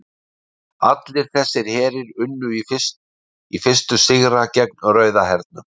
allir þessir herir unnu í fyrstu sigra gegn rauða hernum